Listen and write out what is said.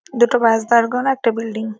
দুটো বাস দাড় করানো একটা বিল্ডিং ।